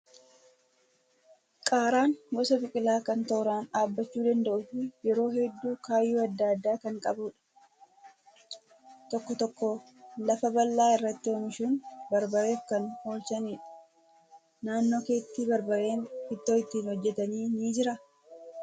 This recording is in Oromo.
Qaaraan gosa biqilaa kan tooraan dhaabbachuu danda'uu fi yeroo hedduu kaayyoo adda addaa kan qabudha. Tokko tokko lafa bal'aa irratti oomishuun barbareef kan oolchanidha. Naannoo keetti barbareen ittoo ittiin hojjatan ni jiraa?